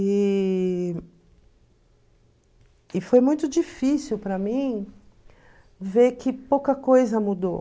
E e foi muito difícil para mim ver que pouca coisa mudou.